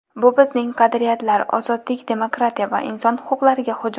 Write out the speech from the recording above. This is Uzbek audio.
Bu bizning qadriyatlar, ozodlik, demokratiya va inson huquqlariga hujum.